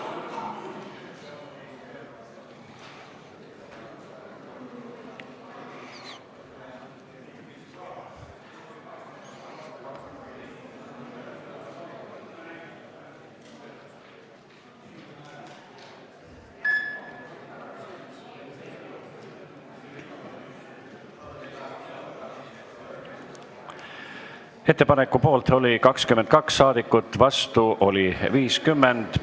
Hääletustulemused Ettepaneku poolt oli 22 ja vastu oli 50 saadikut.